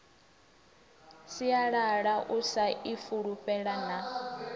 sialala u sa ifulufhela na